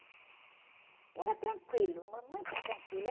E era tranquilo, mas muito tranquilo. É...